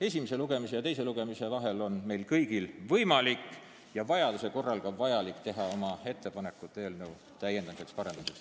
Esimese ja teise lugemise vahel on meil kõigil võimalik ja vajaduse korral ka vajalik teha ettepanekuid eelnõu täiendamiseks ja parendamiseks.